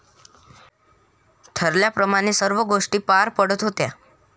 ठरल्याप्रमाणे सर्व गोष्टी पार पडत होत्या.